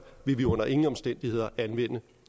vil de under ingen omstændigheder anvende